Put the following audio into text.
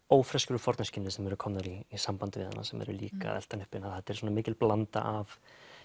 ófreskjur úr forneskjunni sem eru komnar í samband við hana sem eru líka að elta hana uppi þetta er mikil blanda af